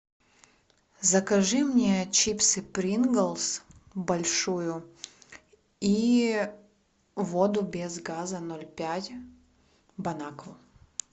закажи мне чипсы принглс большую и воду без газа ноль пять бон аква